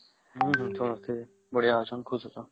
ହଁ ହଁ ସମସ୍ତେ ବଢିଆ ଆଚଂ ଖୁଶ ଆଚ୍ଛନ